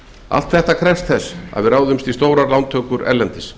allt þetta krefst þess að við ráðumst í stórar lántökur erlendis